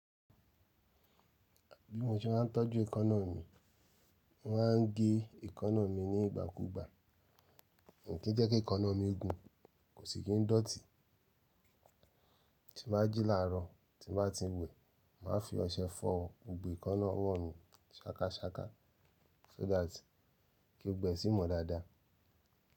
Bí mo ṣe máa ń tọ́jú ekanna mi, mo máa ń gé ekanna mi nígbà kúgbà mi kí n jẹ́ kí ekanna mi gùn, kò sì kí n dọ̀tí. Tí bá jì láàárọ̀, tí bá ti ń wẹ, màá fi ọṣẹ fọ́ gbogbo ekanna ọwọ́ mi ṣakaṣaka so that kí gbogbo ẹ sí i mọ́ dáadáa.